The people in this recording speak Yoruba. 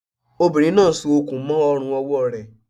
Obìnrin náà n so okùn mó ọrùn ọwọ́ rẹ̀